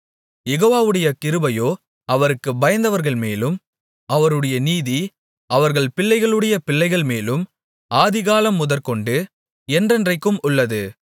யெகோவாவுடைய கிருபையோ அவருக்குப் பயந்தவர்கள்மேலும் அவருடைய நீதி அவர்கள் பிள்ளைகளுடைய பிள்ளைகள்மேலும் ஆதிகாலம் முதற்கொண்டு என்றென்றைக்கும் உள்ளது